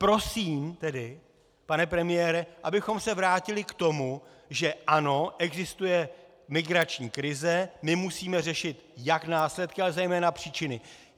Prosím tedy, pane premiére, abychom se vrátili k tomu, že ano, existuje migrační krize, my musíme řešit jak následky, ale zejména příčiny.